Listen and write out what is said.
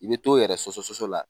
I bɛ t'o yɛrɛ sɔsɔ sɔsɔ sɔsɔ sɔsɔ la.